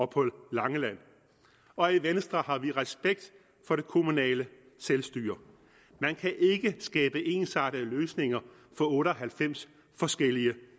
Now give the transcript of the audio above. på langeland og i venstre har vi respekt for det kommunale selvstyre man kan ikke skabe ensartede løsninger for otte og halvfems forskellige